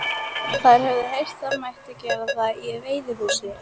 Þær höfðu heyrt það mætti gera það í veiðihúsi.